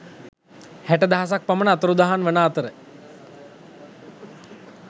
හැට දහසක් පමණ අතුරුදහන් වන අතර